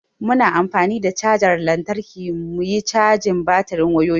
Muna an fani da chajar lantarki muyi cajin batirin wayoyin mu.